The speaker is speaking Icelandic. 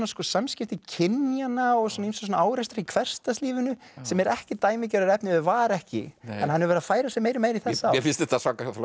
samskipti kynjanna og ýmsa árekstra í hversdagslífinu sem er ekki dæmigerður efniviður var ekki en hann hefur verið að færa sig meira og meira í þessa átt mér finnst þetta